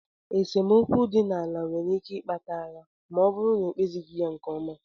Esemokwu dị n'ala nwere ike ikpata agha ma ọ bụrụ na ekpezighi ya nke ọma.